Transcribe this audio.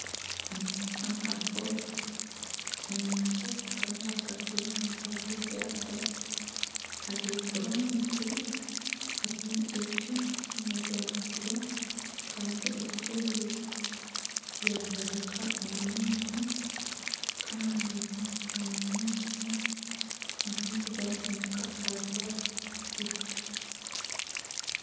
Hanu hariho enyanja kandi ahagati y'enyanza hariho eryato ahaiguru omwiguru hariyo ebicu ebya buru kandi ebicu ebi byareebeka omu maizi Kandi omu maizi amaizi gahinduka ahabwa ebicu